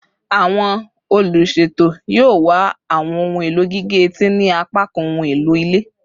Awọn oluṣeto yoo wa awọn ohun elo gige-eti ni apakan ohun elo ile